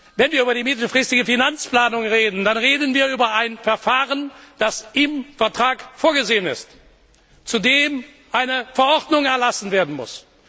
Wenn wir über die mittelfristige Finanzplanung reden, dann reden wir über ein Verfahren, das im Vertrag vorgesehen ist, und zu dem eine Verordnung erlassen werden muss.